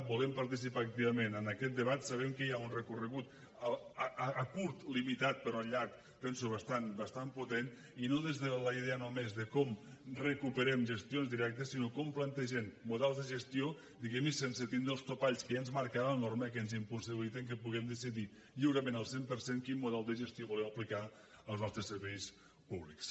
volem participar activament en aquest debat sabem que hi ha un recorregut a curt limitat però a llarg penso bastant potent i no des de la idea només de com recuperem gestions directes sinó com plantegem models de gestió diguem ne sense tindre els topalls que ja ens marca la norma i que ens impossibiliten que puguem decidir lliurement al cent per cent quin model de gestió volem aplicar als nostres serveis públics